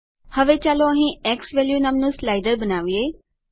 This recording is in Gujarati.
હવે ચાલો અહીં ઝવેલ્યુ નામનું સ્લાઇડર બનાવીએ